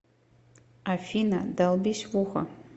афина долбись в ухо